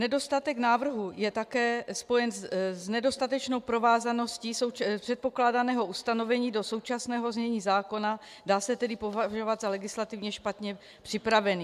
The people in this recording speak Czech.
Nedostatek návrhu je také spojen s nedostatečnou provázaností předkládaného ustanovení do současného znění zákona, dá se tedy považovat za legislativně špatně připravený.